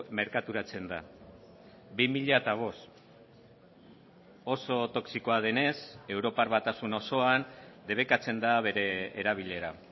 merkaturatzen da bi mila bost oso toxikoa denez europar batasun osoan debekatzen da bere erabilera